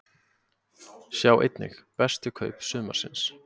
Sjá einnig: Bestu kaup sumarsins?